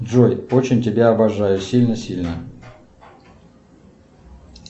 джой очень тебя обожаю сильно сильно